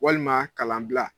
Walima kalanbila